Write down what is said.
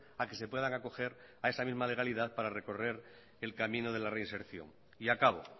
a que se puedan acoger a esa misma legalidad para recorrer el camino de la reinserción y acabo